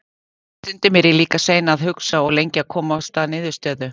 Stundum er ég líka sein að hugsa og lengi að komast að niðurstöðu.